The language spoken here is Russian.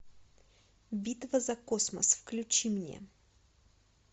битва за космос включи мне